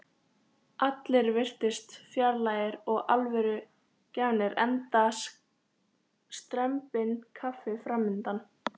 Allir virtust fjarlægir og alvörugefnir enda strembinn kafli framundan.